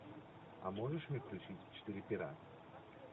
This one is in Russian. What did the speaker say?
а можешь мне включить четыре пера